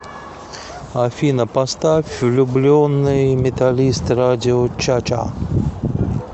афина поставь влюбленный металлист радио чача